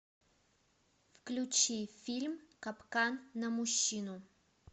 включи фильм капкан на мужчину